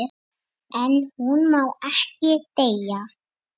En hún má ekki deyja.